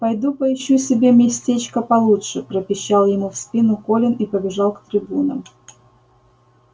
пойду поищу себе местечко получше пропищал ему в спину колин и побежал к трибунам